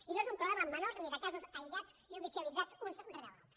i no és un problema menor ni de casos aïllats judicialitzats uns rere els altres